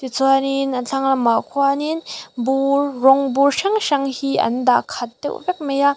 chuanin a thlanglamah khuanin bur rawng bur hrang hrang hi an dah khat deuh vek mai a.